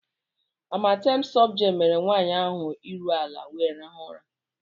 Amatem softgel mere nwanyị ahụ ahụ iru ala wee rahụ ụra.